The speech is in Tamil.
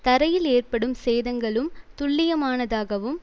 தரையில் ஏற்படும் சேதங்களும் துல்லியமானதாகவும்